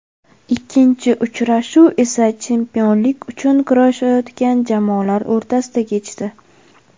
Ikkinchi uchrashuv esa chempionlik uchun kurashayotgan jamoalar o‘rtasida kechdi.